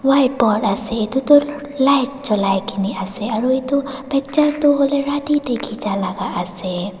white board ase etudu light jolai kena ase aru etu picture huileh rati teh kichia lah ase.